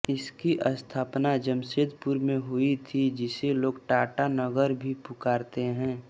इसकी स्थापना जमशेदपुर में हुई थी जिसे लोग टाटा नगर भी पुकारते हैं